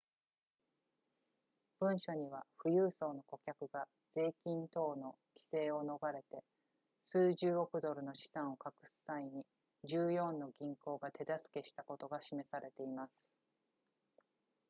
文書には富裕層の顧客が税金等の規制を逃れて数十億ドルの資産を隠す際に14の銀行が手助けしたことが示されています